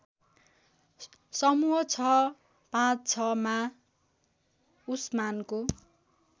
समूह ६५६ मा उसमानको